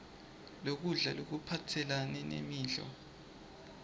lokudla lokuphathelane nemidlo